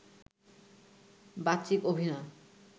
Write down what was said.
বাচিক অভিনয়